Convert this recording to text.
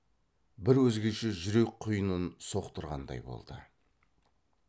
бір өзгеше жүрек құйынын соқтырғандай болды